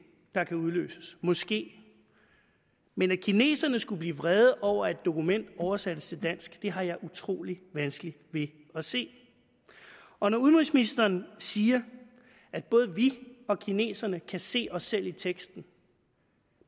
der kan udløses måske men at kineserne skulle blive vrede over at et dokument oversættes til dansk har jeg utrolig vanskeligt ved at se og når udenrigsministeren siger at både vi og kineserne kan se os selv i teksten